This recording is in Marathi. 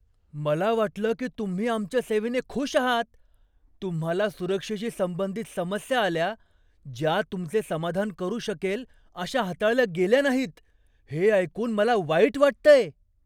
मला वाटलं की तुम्ही आमच्या सेवेने खुश आहात. तुम्हाला सुरक्षेशी संबंधित समस्या आल्या, ज्या तुमचे समाधान करु शकेल अशा हाताळल्या गेल्या नाहीत हे ऐकून मला वाईट वाटतंय.